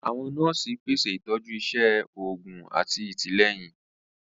Àwọn nọọsi pèsè itọju iṣé òògùn àti àtìlẹ́yìn.